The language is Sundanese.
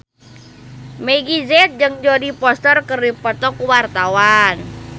Meggie Z jeung Jodie Foster keur dipoto ku wartawan